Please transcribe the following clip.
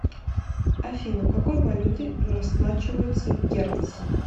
афина какой валютой расплачиваются в гернси